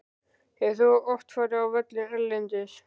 Hefur þú oft farið á völlinn erlendis?